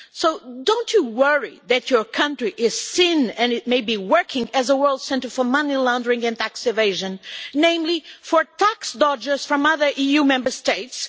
So, don't you worry that your country is seen and it may be working as a world centre for money laundering and tax evasion, namely for tax dodgers from other EU Member States?